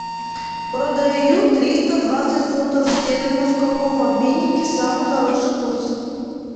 продаю триста двадцать фунтов стерлингов в каком обменнике самый хороший курс